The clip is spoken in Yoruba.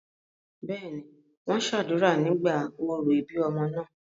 bẹ́ẹ̀ni, wọ́n sàdúrà nígbà orò ìbí ọmọ náà